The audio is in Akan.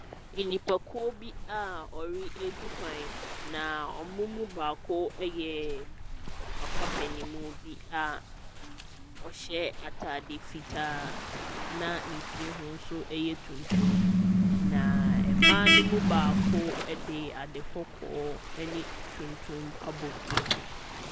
Nipakuo bi a wɔretu kwan. Na wɔn mu baako yɛ papa panin mu bi a ɔhyɛ atadeɛ fitaa, an ne tiri ho nso yɛ tuntum. Na mmaa no mu baako de adekɔkɔɔ ne tuntum abɔ ne ti.